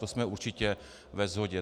To jsme určitě ve shodě.